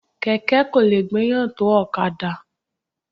Kẹ̀kẹ́ kò lè gbéyàn tó ọ̀kadà.